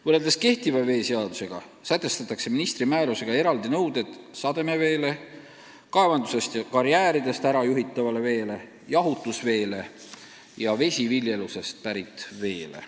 Ministri määrusega kehtestatakse eraldi nõuded sademeveele, kaevandustest ja karjääridest ära juhitavale veele, jahutusveele ning vesiviljelusest pärit veele.